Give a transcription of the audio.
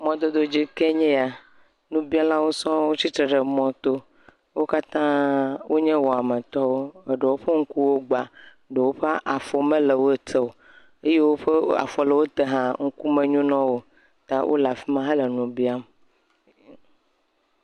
Mɔdododzi kee nye ya. Nubialawo sɔɔ tsitre ɖe mɔto. Wo katã wonye wɔmetɔwo, eɖewo ƒe ŋkuwo gba, eɖewo ƒe afɔ mele wo te o. Eyiwo ke afɔ le wote hã ŋku menyo na wo o ta wo le afi ma hele nu biam.